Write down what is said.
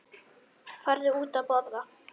Farðu út að borða.